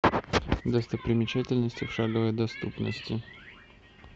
достопримечательности в шаговой доступности